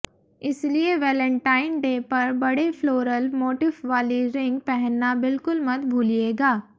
इसलिए Valentine day पर बड़े फ्लोरल मोटिफ वाली रिंग पहनना बिल्कुल मत भूलिएगा